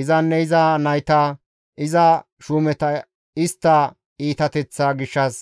Izanne iza nayta, iza shuumeta istta iitateththaa gishshas